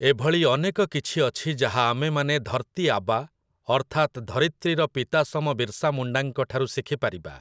ଏଭଳି ଅନେକ କିଛି ଅଛି ଯାହା ଆମେମାନେ ଧର୍‌ତୀଆବା ଅର୍ଥାତ୍ ଧରିତ୍ରୀର ପିତାସମ ବିର୍ସାମୁଣ୍ଡାଙ୍କଠାରୁ ଶିଖିପାରିବା ।